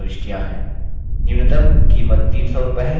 न्यूनतम कीमत 300 रूपये है